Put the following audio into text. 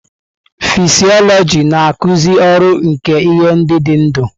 Fịsiọlojị na-akụzi ọrụ nke ihe ndị dị ndụ.